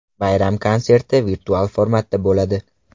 Bayram konserti virtual formatda bo‘lib o‘tadi.